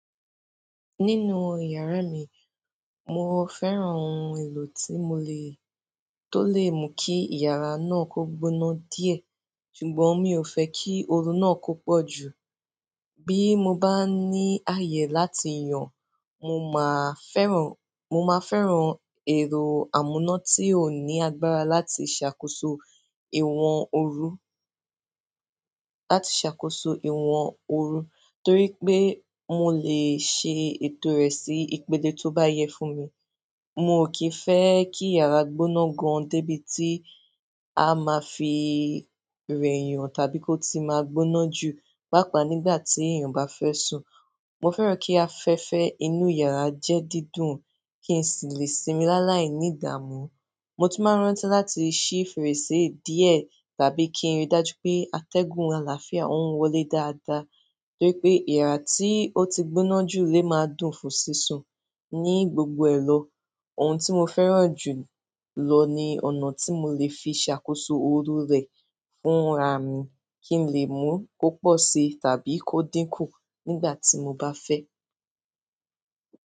Nínú ìyàrá mi, mo fẹ́ran ohun èlò tí mo lè-- tó lè mú kí ìyàrá náà kó gbóná díẹ̀, ṣùgbọ́n mi ò fẹ́ kí ooru náà kó pọ̀ jù. Bí mo bá ní ààyè láti yàn, mo máa fẹ́ran, mo máa fẹ́ran ẹ̀rọ amúná tí ó ní agbára láti ṣàkóso ìwọ̀n ooru, láti ṣàkóso ìwọ̀n ooru, torí pé mo lè ṣe ètò rẹ̀ sí ìpèlé tó bá yẹ fún mi. Mo kì í fẹ́ kí ìyàrá gbóná gan-an débi tí a máa fi rẹyàn tàbí kó ti máa gbóná jù, pàápàá nígbà tí èèyàn bá fẹ́ sùn. Mo fe ki afẹ́fẹ́ inú yara je dídùn ki n si le sinmi la láì ni ìdààmú. Mo tún máa rántí láti ṣí fèrèsé díẹ̀ tàbí kí ń rí dájú pé atẹ́gùn àlàáfíà ó ń wọlé dáadáa. To je pe iha ti o ti gbóná ju a dùn fún sisun ni gbogbo elo. Ohun tí mo fẹ́ran jù lọ ni ọ̀nà tí mo lè fi ṣàkóso ooru rẹ̀ fúnra mi kí n lè mú kó pọ̀ sí tàbí kó dínkù nígbà tí mo bá fẹ́.